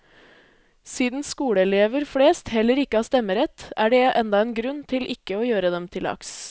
Siden skoleelever flest heller ikke har stemmerett, er det enda en grunn til ikke å gjøre dem til lags.